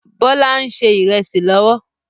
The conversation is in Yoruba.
Bọlá ń ṣe ìrẹsì lọ́wọ́